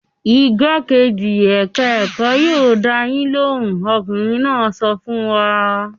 "Igbákejì ẹ̀ka-ẹ̀kọ́ yóò dá yín lóhùn!" Ọkùnrin náà sọ fún wa.